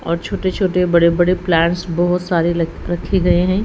और छोटे छोटे बड़े बड़े प्लांट्स बहोत सारे ल रखे गए हैं।